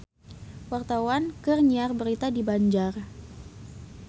Wartawan keur nyiar berita di Banjar